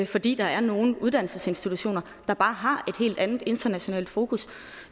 fordi der er nogle uddannelsesinstitutioner der bare har et helt andet internationalt fokus